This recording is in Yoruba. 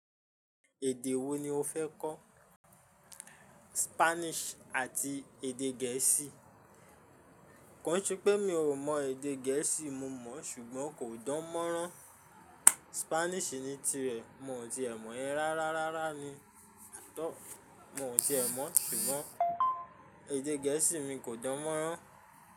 Èdè wo ni o fẹ́ kọ́? Spanish àti èdè gẹ̀ẹ́sì. Kànṣe pé mi ò mọ èdè gẹ̀ẹ́sì, mo mọ̀, ṣùgbọ́n kò dánmọ́rán. Spanish ni tirẹ̀, mo ò tíì ẹ mọ̀ yẹ́n rárá rárá ni, at all mo ò tíì ẹ mọ̀, ṣùgbọ́n èdè gẹ̀ẹ́sì mi kò dánmọ́rán.